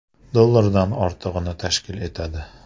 dollardan ortiqni tashkil etadi.